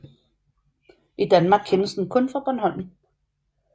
I Danmark kendes den kun fra Bornholm